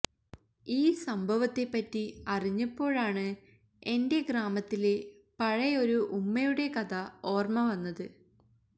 ഈ സംഭവത്തെപറ്റി അറിഞ്ഞപ്പോഴാണ് എന്റെ ഗ്രാമത്തിലെ പഴയൊരു ഉമ്മയുടെ കഥ ഓര്മവന്നത്